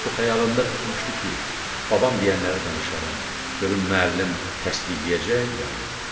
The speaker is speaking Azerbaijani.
O xəyalında tutmuşdu ki, babam deyənləri danışaram, görüm müəllim təsdiqləyəcək ya yox.